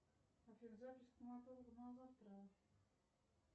афина запись к стоматологу на завтра